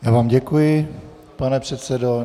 Já vám děkuji, pane předsedo.